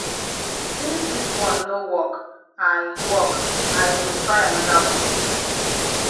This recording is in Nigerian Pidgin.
since dis one no work i work i go try another one